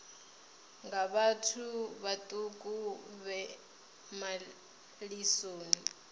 nga vhathu vhaṱuku vhe malisoni